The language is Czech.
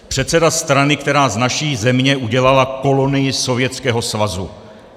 Předseda strany, která z naší země udělala kolonii Sovětského svazu.